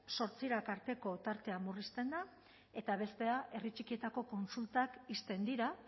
zortzirak arteko tartea murrizten da eta bestea herri txikietako kontsultak ixten dira